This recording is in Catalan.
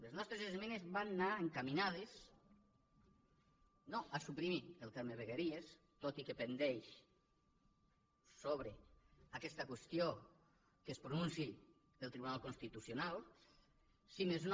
les nostres esmenes van anar encaminades no a suprimir el terme vegueries tot i que està pendent sobre aquesta qüestió que es pronunciï el tribunal constitucional si més no